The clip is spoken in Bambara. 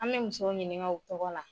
An mɛ musow ɲiniŋa u tɔgɔ la